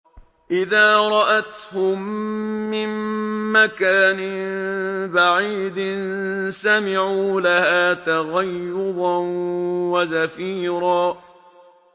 إِذَا رَأَتْهُم مِّن مَّكَانٍ بَعِيدٍ سَمِعُوا لَهَا تَغَيُّظًا وَزَفِيرًا